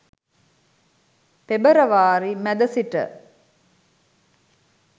පෙබරවාරි මැද සිට